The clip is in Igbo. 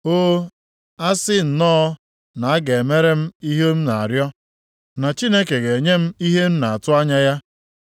“O, asị nnọọ na a ga-emere m ihe m na-arịọ, na Chineke ga-enye m ihe m na-atụ anya ya.